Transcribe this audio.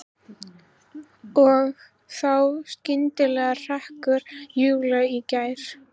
Og þá skyndilega hrekkur Júlía í gír.